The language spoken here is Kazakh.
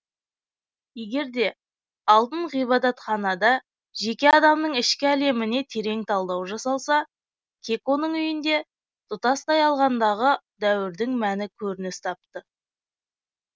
егер де алтын ғибадатханада жеке адамның ішкі әлеміне терең талдау жасалса кеконың үйінде тұтастай алғандағы дәуірдің мәні көрініс тапты